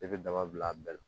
I bɛ daba bila a bɛɛ la